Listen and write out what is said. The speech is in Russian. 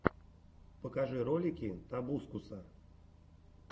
покажи ролики тобускуса